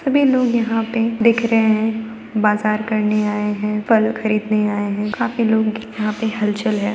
सभी लोग यहाँ पर दिख रहे है बाजार करने आये है फल खरीदने आये है काफी लोग यहाँ पे हलचल है।